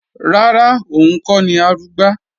Rárá, òun kọ́ ni Arugbá